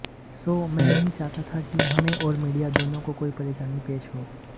सो मैं नहीं चाहता था कि हमें और मीडिया दोनों को कोई परेशानी पेश हो